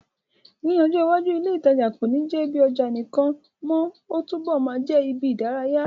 Ní ọjọ́ iwájú, ilé ìtajà kò ní jẹ́ ibi ọjà nìkan mọ́, ó túbọ̀ máa jẹ́ ibi ìdárayá.